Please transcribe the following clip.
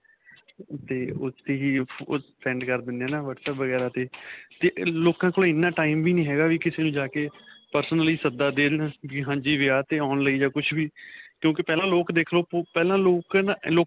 'ਤੇ ਉੱਥੇ ਹੀ send ਕਰ ਦਿੰਨੇ ਆ ਹੈ ਨਾ whatsapp ਵਗੈਰਾ 'ਤੇ. 'ਤੇ ਲੋਕਾਂ ਕੋਲ ਐਨਾ time ਵੀ ਨੀ ਹੈਗਾ ਵੀ ਕਿ ਕਿਸੇ ਨੂੰ ਜਾ ਕੇ personally ਸੱਦਾ ਦੇਣ, ਵੀ ਹਾਂਜੀ ਵਿਆਹ ਤੇ ਆਉਣ ਲਈ ਜਾਂ ਕੁੱਝ ਵੀ ਕਿਉਂਕਿ ਪਹਿਲਾਂ ਲੋਕ ਦੇਖ ਲੋ ਪਹਿਲਾਂ ਲੋਕ ਨਾ .